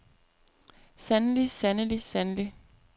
sandelig sandelig sandelig